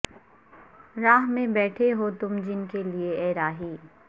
راہ میں بیٹھے ہو تم جن کے لیے اے راہی